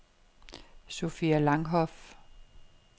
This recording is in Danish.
Sofia Langhoff